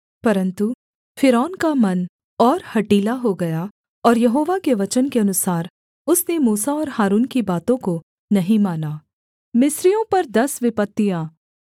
परन्तु फ़िरौन का मन और हठीला हो गया और यहोवा के वचन के अनुसार उसने मूसा और हारून की बातों को नहीं माना